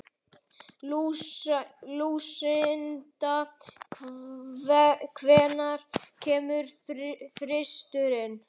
Lúsinda, hvenær kemur þristurinn?